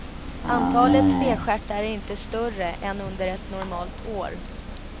Antalet tvestjärtar är inte större än under ett normalt år.